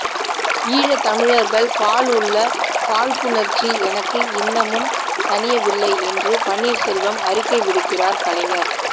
ஈழத் தமிழர்கள் பால் உள்ள காழ்ப்புணர்ச்சி எனக்கு இன்னமும் தணியவில்லை என்று பன்னீர்செல்வம் அறிக்கை விடுகிறார் கலைஞர்